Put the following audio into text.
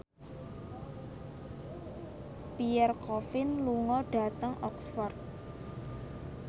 Pierre Coffin lunga dhateng Oxford